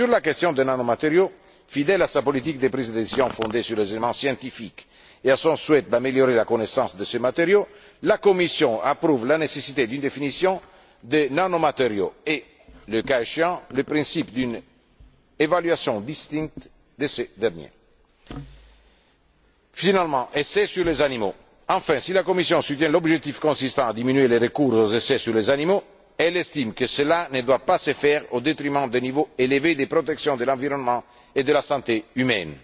Sur la question des nanomatériaux, fidèle à sa politique de prise de décision fondée sur des éléments scientifiques, et à son souhait d'améliorer la connaissance de ces matériaux, la Commission approuve la nécessité d'une définition des nanomatériaux et, le cas échéant, le principe d'une évaluation distincte de ces derniers. Enfin les essais sur les animaux. Si la Commission soutient l'objectif consistant à diminuer le recours aux essais sur les animaux, elle estime que cela ne doit pas se faire au détriment d'un niveau élevé de protection de l'environnement et de la santé humaine.